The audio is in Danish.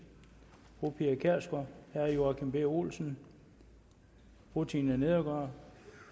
fru pia kjærsgaard herre joachim b olsen fru tina nedergaard